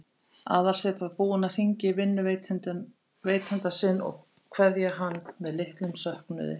Aðalsteinn var búinn að hringja í vinnuveitanda sinn og kveðja hann með litlum söknuði.